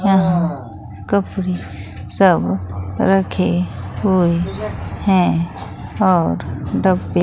यहां कपड़े साबुन रखे हुए हैं और डब्बे--